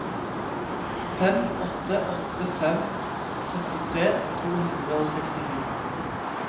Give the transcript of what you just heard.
fem åtte åtte fem trettitre to hundre og sekstito